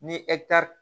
Ni